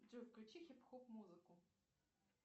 джой включи хип хоп музыку